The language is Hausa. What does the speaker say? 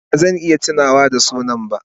Ba zan iya tunawa da sunan ba.